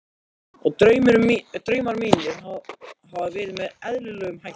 Og draumar mínir hafa verið með eðlilegum hætti.